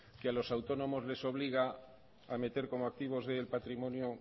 que a los autónomos les obliga a meter como activos del patrimonio